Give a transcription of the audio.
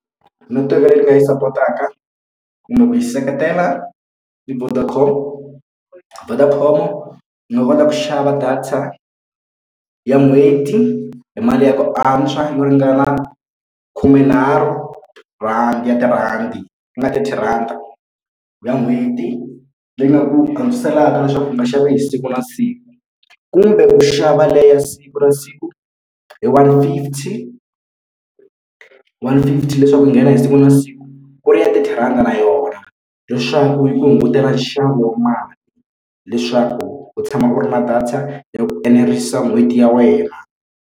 Netiweke leyi nga yi sapotaka kumbe ku yi seketela i Vodacom. Vodacom u nga kota ku xava data ya n'hweti hi mali ya ku antswa yo ringana khumenharhu rhandi ya tirhandi ku nga thirty rhandi ya n'hweti leyi nga ku antswiselaka leswaku u nga xavi hi siku na siku kumbe u xava liya ya siku na siku hi one fifty one fifty leswaku yi nghena hi siku na siku ku ri ya thirty rhandi na yona leswaku yi ku hungutela nxavo wa mali leswaku u tshama u ri na data ya ku enerisa n'hweti ya wena.